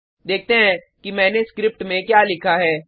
देखते हैं कि मैंने स्क्रिप्ट में क्या लिखा है